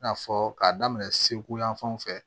I n'a fɔ k'a daminɛ segu yan fanw fɛ